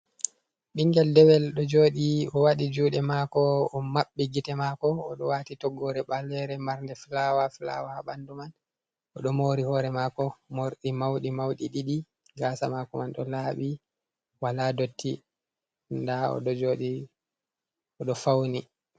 Bingel ɗewel do joɗi owadii juɗe mako o mabbi gite mako. Odo wati toggore ballere marnɗ fulawa fulawa ha banɗu man. Oɗo mori hore mako morɗi mauɗi mauɗi ɗiɗi. Gasa mako man ɗo labi wala ɗotti ɗa oɗo joɗo oɗo fauni.